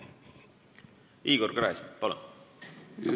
Igor Gräzin, palun!